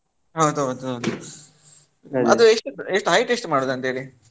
ಹೌದೌದು ಹೌದು. ಅದು ಎಷ್ಟು height ಎಷ್ಟು ಮಾಡುದು ಅಂತ ಹೇಳಿ.